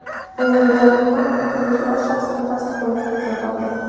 bu yil deyarli hamma bitiruvchilar shaxsini tasdiqlovchi hujjat oldi.